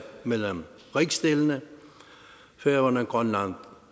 mellem rigsdelene færøerne grønland